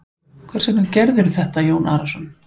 Hvers vegna gerirðu þetta Jón Arason?